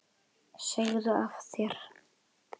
Segðu af þér!